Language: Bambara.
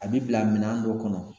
A bi bila minɛn dɔ kɔnɔ.